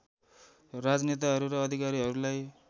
राजनेताहरू र अधिकारीहरूलाई